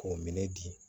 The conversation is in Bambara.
K'o minɛ di